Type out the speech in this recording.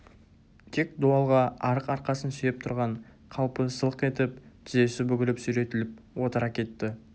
тек дуалға арық арқасын сүйеп тұрған қалпы сылқ етіп тізесі бүгіліп сүйретіліп отыра кетті